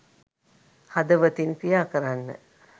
හදවතින් ක්‍රියා කරන්න.